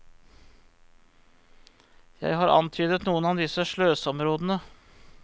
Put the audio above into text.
Jeg har antydet noen av disse sløseområdene.